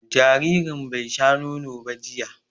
Jaririn bai sha nono ba jiya